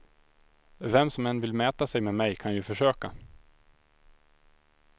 Vem som än vill mäta sig med mig kan ju försöka.